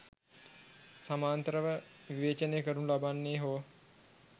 සමාන්තරව විවේචනය කරනු ලබන්නේ හෝ